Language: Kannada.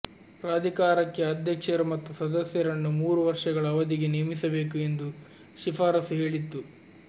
ಪ್ರಾಧಿಕಾರಕ್ಕೆ ಅಧ್ಯಕ್ಷರು ಮತ್ತು ಸದಸ್ಯರನ್ನು ಮೂರು ವರ್ಷಗಳ ಅವಧಿಗೆ ನೇಮಿಸಬೇಕು ಎಂದು ಶಿಫಾರಸು ಹೇಳಿತ್ತು